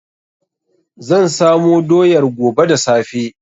Zan samo doyar gobe da safe.